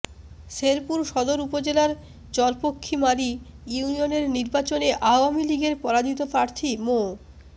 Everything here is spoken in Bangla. শেরপুর সদর উপজেলার চরপক্ষীমারী ইউনিয়নের নির্বাচনে আওয়ামী লীগের পরাজিত প্রার্থী মো